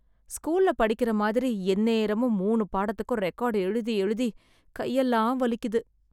ஸ்கூல்ல படிக்கற மாதிரி, எந்நேரமும் மூணு பாடத்துக்கும் ரெக்கார்ட் எழுதி எழுதி கையெல்லாம் வலிக்குது...